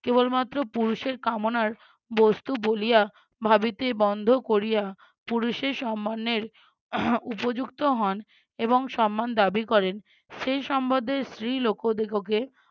কেবলমাত্র পুরুষের কামনার বস্তু বলিয়া ভাবিতে বন্ধ কোরিয়া পুরুষের সম্মানের উপযুক্ত হন এবং সম্মান দাবি করেন সেই সম্বদ্ধে স্ত্রীলোকদিগকে